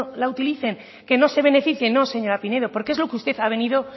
la utilicen qué no se beneficien no señora pinedo porque es lo que usted ha venido